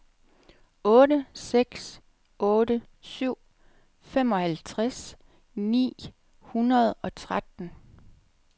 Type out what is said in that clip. otte seks otte syv femoghalvtreds ni hundrede og tretten